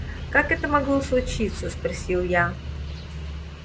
как это могло случиться спросил я